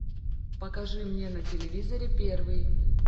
покажи мне на телевизоре первый